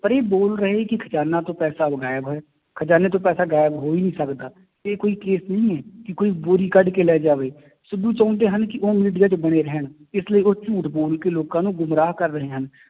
ਪਰ ਇਹ ਬੋਲ ਰਹੇ ਕਿ ਖਜ਼ਾਨਾ ਤੋਂ ਉਹ ਗਾਇਬ ਹੈ, ਖਜ਼ਾਨੇ ਤੋਂ ਪੈਸਾ ਗਾਇਬ ਹੋ ਹੀ ਨੀ ਸਕਦਾ, ਇਹ ਕੋਈ case ਨਹੀਂ ਹੈ, ਕਿ ਕੋਈ ਬੋਰੀ ਕੱਢ ਕੇ ਲੈ ਜਾਵੇ, ਸਿੱਧੂ ਚਾਹੁੰਦੇ ਹਨ ਕਿ ਉਹ media ਚ ਬਣੇ ਰਹਿਣ ਇਸ ਲਈ ਉਹ ਝੂਠ ਬੋਲ ਕੇ ਲੋਕਾਂ ਨੂੰ ਗੁੰਮਰਾਹ ਕਰ ਰਹੇ ਹਨ,